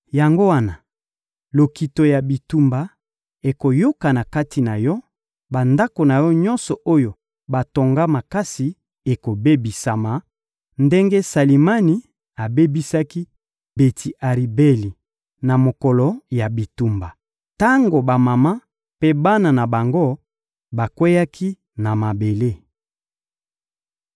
Yango wana, lokito ya bitumba ekoyokana kati na yo, bandako na yo nyonso oyo batonga makasi ekobebisama; ndenge Salimani abebisaki Beti-Aribeli na mokolo ya bitumba, tango bamama mpe bana na bango bakweyaki na mabele.